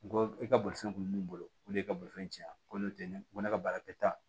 N ko e ka bolifɛn kun bɛ min bolo o de ye bolifɛn cɛn ko n tɛ ne ko ne ka baara tɛ taa